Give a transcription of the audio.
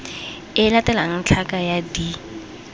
e latelang tlhaka ya d